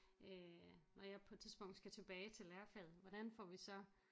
Øh når jeg på et tidspunkt skal tilbage til lærerfaget hvordan får vi så